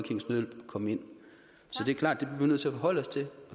komme ind så det er klart at vi nødt til at forholde os til og